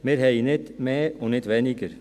Wir haben nicht mehr und nicht weniger.